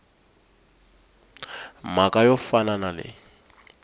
mhaka yo fana na leyi